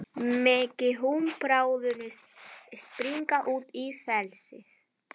Megi hún bráðum springa út í frelsið.